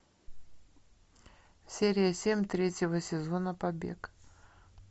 серия семь третьего сезона побег